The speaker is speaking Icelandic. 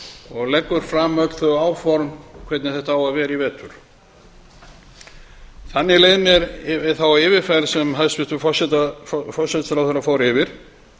og leggur fram áform um hvernig þetta eigi að vera í vetur þannig leið mér við yfirferð hæstvirts forsætisráðherra yfir